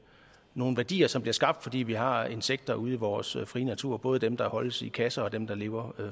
nogle værdier som bliver skabt fordi vi har insekter ude i vores frie natur både dem der holdes i kasser og dem der lever